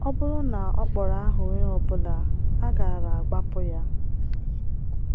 Ọ bụrụ na ọ kpọrọ aha onye ọ bụla, a gaara agbapụ ya.